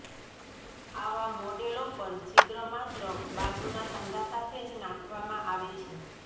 આવા મોડેલો પર છિદ્ર માત્ર બાજુના સાંધા સાથે જ નાખવામાં આવે છે